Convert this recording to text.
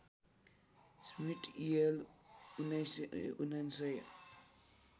Smit EL १९९९